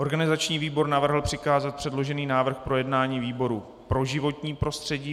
Organizační výbor navrhl přikázat předložený návrh k projednání výboru pro životní prostředí.